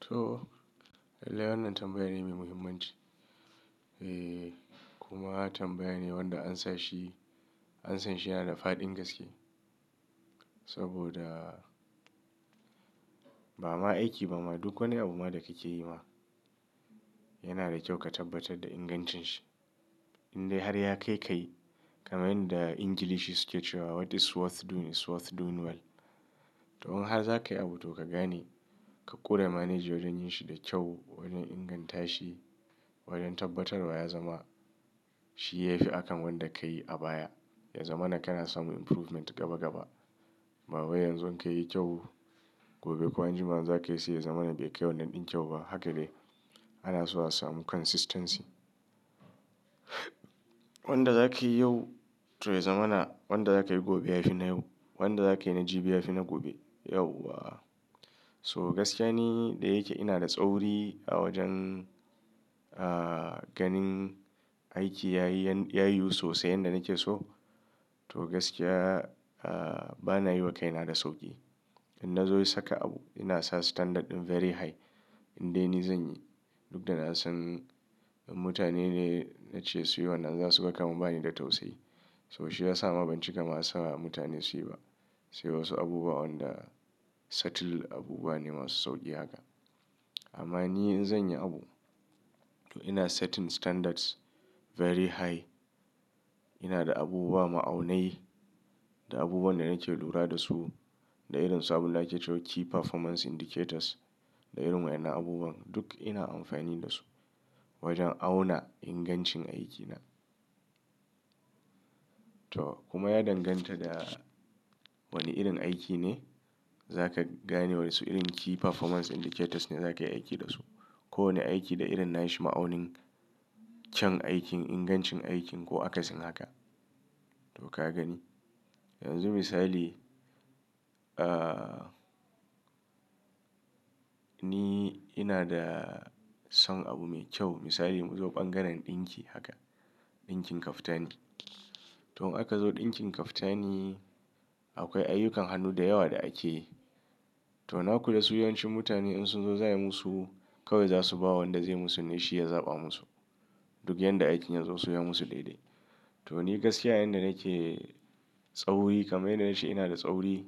To, lallai wannan tambaya ne mai muhimmanci. Eh kuma tambaya ne wanda ansanshi, ansanshi yana da fa'ɗin gaske. Saboda ba ma aiki ba ma duk wani abu ma da kake yi ma yana da kyau ka tabbatar da ingancin shi. Indai har ya kai kai kamar yanda Ingilishi suke cewa what is worth doing is worth doing well. To, in har za ka yi abu to ka gane, ka ƙura manaji wajen yin shi da kyau, wajen inganta shi, wajen tabbatarwa ya zama shi ya fi akan wanda ka yi a baya. Ya zamana kana samun improvement gaba gaba. Ba wai yanzu in ka yi kyau, gobe ko anjima in za ka yi seya zama na bai kai wannan ɗin kyau ba. Haka ne ana so a samu consistency. Wanda za ka yi yau to ya zama na wanda za ka yi gobe ya fi na yau. Wanda za ka yi na jibi ya fi na gobe. Yawwa. So gaskiya ne da yake ina da tsauri a wajen, ah, ganin aiki ya yi, ya yiwu sosai yanda nake so. To gaskiya, ah, bana yi wa kaina da sauƙi. In na zo yi saka abu ina sa standard ɗin very high. Indai ni zan yi duk da na san in mutane da na ce su yi wannan za su gama ba ni da tausayi. To shi ya sa ma ban cika ma sa mutane su yi ba. Sai wasu abubuwa wanda subtle abubuwa ne masu sauƙi haka. Amma ni in zan yi abu, to ina setting standards very high. Ina da abubuwa ma'aunai da abubuwan da nake lura da su da irin su abunda ake cewa key performance indicators da irin waɗannan abubuwan duk ina amfani da su wajen auna ingancin aikina. To kuma ya danganta da wane irin aiki ne za ka gane wasu irin key performance indicators ne za ka yi aiki da su. Ko wane aiki da irin na shi ma'aunin can aikin, ingancin aikin ko akasin haka. To ka gani. Yanzu misali, ah, ni ina da son abu mai kyau misali mu zo bangaren ɗinki haka. Ɗinkin kaftani. To in aka zo ɗinkin kaftani akwai ayyukan hannu da yawa da ake yi. To nakula su yawancin mutane in sun zo za a yi musu kawai za su ba wanda zai yi musu ne shi ya zaɓa musu. Duk yanda aikin ya zo su yi musu daidai. To ni gaskiya yanda nake tsauri kamar yanda na ce ina da tsauri